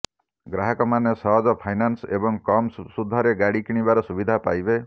ଗ୍ରାହକମାନେ ସହଜ ଫାଇନାନ୍ସ ଏବଂ କମ୍ ସୁଧରେ ଗାଡ଼ି କିଣିବାର ସୁବିଧା ପାଇବେ